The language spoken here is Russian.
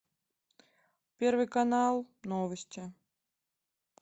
первый канал новости